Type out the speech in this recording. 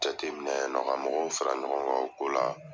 Jateminɛ yen nɔn ka mɔgɔw fara ɲɔgɔn kan o ko la .